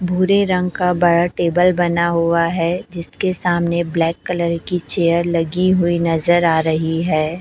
भूरे रंग का बड़ा टेबल बना हुआ है जिसके सामने ब्लैक कलर की चेयर लगी हुई नजर आ रही है।